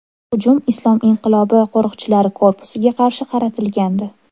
Hujum Islom inqilobi qo‘riqchilari korpusiga qarshi qaratilgandi.